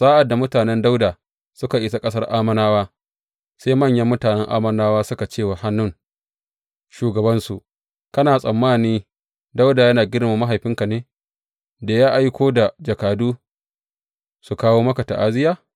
Sa’ad da mutanen Dawuda suka isa ƙasar Ammonawa, sai manyan mutanen Ammonawa suka ce wa Hanun shugabansu, Kana tsammani Dawuda yana girmama mahaifinka ne da ya aiko da jakadu su kawo maka ta’aziyya?